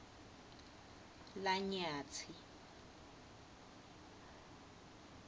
lanyatsi